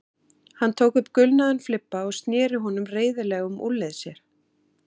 Hann tók upp gulnaðan flibba og sneri honum reiðilega um úlnlið sér.